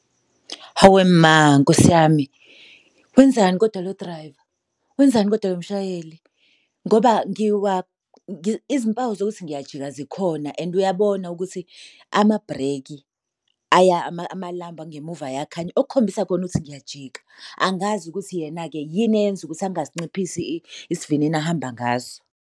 Hawe ma Nkosi yami, wenzani koda lo driver? Wenzani koda lo mshayeli? Ngoba izimpawu zokuthi ngiyajika zikhona and uyabona ukuthi amabhreki amalambu angemuva ayakhanya, okukhombisa khona ukuthi ngiyajika. Angazi ukuthi yena-ke yini eyenza ukuthi angasinciphisi isivinini ahamba ngaso.